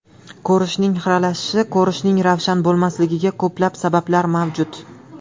Ko‘rishning xiralashishi Ko‘rishning ravshan bo‘lmasligiga ko‘plab sabablar mavjud.